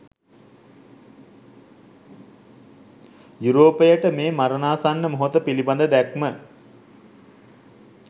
යුරෝපයට මේ මරණාසන්න මොහොත පිළිබඳ දැක්ම